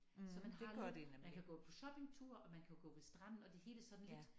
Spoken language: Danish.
Så man har lige man kan gå på shoppingtur og man kan jo gå ved stranden og det hele sådan lidt